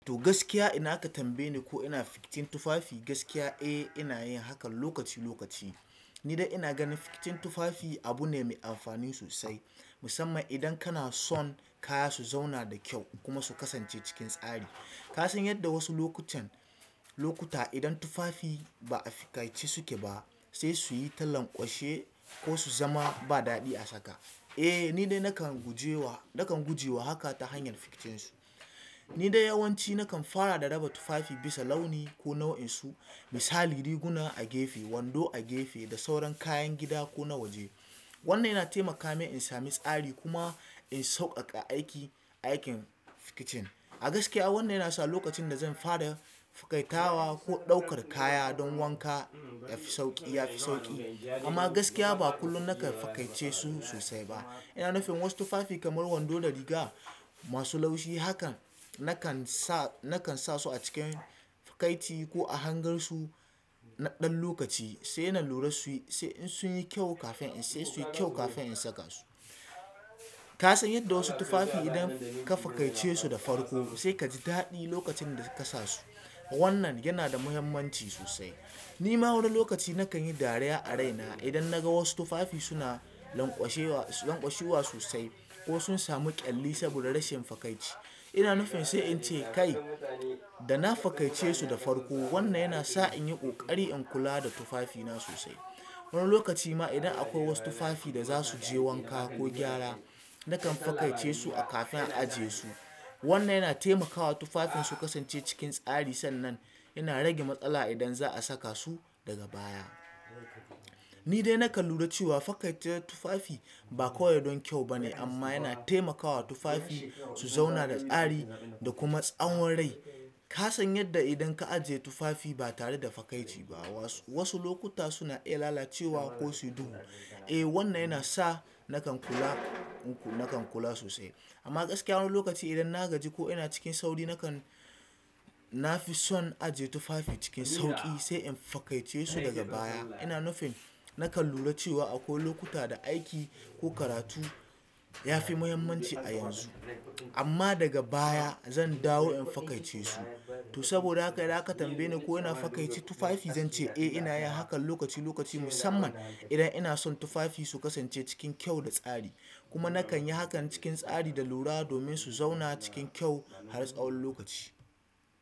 To gaskiya idan aka tambaye ni ko ina fiktin tufafi gaskiya eh ina yin hakan lokaci lokaci. Ni dai ina ganin fiktin tufafi abu ne mai amfani sosai musamman idan kana son kaya su zauna da kyau kuma su kasance cikin tsari. Ka san yadda wasu lokutan lokuta idan tufafi ba a fikaice suke ba sai su yi ta lanƙwashe ko su zama ba daɗi a saka. Eh ni dai nakan gujewa nakan gujewa haka ta hanyar fiktin su. Ni dai yawanci nakan fara da raba tufafi bisa launi ko nau'in su misali riguna a gefe, wando a gefe da sauran kayan gida ko na waje. Wannan yana taimaka min in sami tsari kuma in sauƙaƙa aiki aikin fiktin. A gaskiya wannan yana sa lokacin da zan fara tawa ko ɗaukar kaya dan wanka yafi sauƙi ya fi sauƙi amma gaskiya ba kullum nakan fikaice su sosai ba. Ina nufin wasu tufafi kamar wando da riga masu laushi hakan nakan sa nakan sa su a cikin fikaiti ko a hangar su na ɗan lokaci sai na lura su yi sai in sun yi kyau kafin in sai su yi kyau kafin in saka su. Ka san yadda wasu tufafi idan ka fikaice su da farko sai ka ji daɗi lokacin da ka sa su. Wannan yana da muhimmanci sosai. Ni ma wani lokaci nakan yi dariya a raina idan na ga wasu tufafi suna lanƙwashewa lanƙwashewa sosai ko sun samu ƙyalli saboda rashin fikaitci. Ina nufin sai in ce "Kai da na fakaice su da farko." Wannan yana sa in yi ƙoƙari in kula da tufafina sosai. Wani lokaci ma idan akwai wasu tufafi da za su je wanka ko gyara nakan fakaice su a kafin a ajiye su. Wannan yana taimakawa tufafin su kasance cikin tsari sannan yana rage matsala idan za a saka su daga baya. Ni dai nakan lura cewa fakaice tufafi ba kawai don kyau bane amma yana taimakawa tufafi su zauna da tsari da kuma tsawon rai. Ka san yadda idan ka ajiye tufafi ba tare da fakaice ba wasu wasu lokuta suna iya lalacewa ko su yi duhu. Eh wannan yana sa nakan kula nakan kula sosai. Amma gaskiya wani lokaci idan na gaji ko ina cikin sauri nakan na fi son ajiye tufafi cikin sauƙi sai in fakaice su daga baya. Ina nufin nakan lura cewa akwai lokuta da aiki ko karatu ya fi muhimmanci a yanzu. Amma daga baya zan dawo in fakaice su. To saboda haka idan a ka tambaye ni ko ina fakaice tufafi zan ce eh ina yin hakan lokaci lokaci musamman idan ina son tufafi su kasance cikin kyau da tsari. Kuma nakan yi hakan cikin tsari da lura domin su zauna cikin kyau har tsawon lokaci.